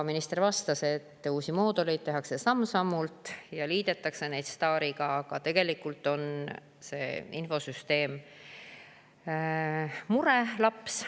Minister vastas, et uusi mooduleid tehakse samm-sammult ja neid liidetakse STAR‑iga, aga tegelikult on see infosüsteem murelaps.